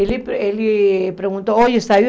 Ele per ele perguntou, saiu?